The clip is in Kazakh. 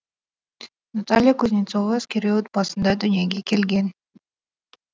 наталья кузнецова әскери отбасында дүниеге келген